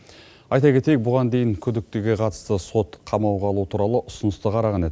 айта кетейік бұған дейін күдіктіге қатысты сот қамауға алу туралы ұсынысты қараған еді